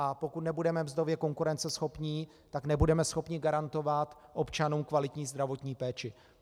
A pokud nebudeme mzdově konkurenceschopní, tak nebudeme schopni garantovat občanům kvalitní zdravotní péči.